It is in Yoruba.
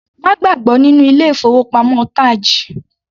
Má gbàgbọ́ nínú ilé ìfowópamọ́ TAJ.